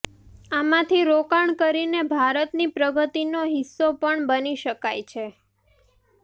આમાથી રોકાણ કરીને ભારતની પ્રગતિનો હિસ્સો પણ બની શકાય છે